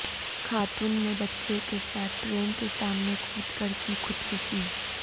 خاتون نے بچہ کے ساتھ ٹرین کے سامنے کود کر کی خود کشی